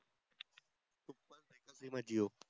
SIM आहे जिओ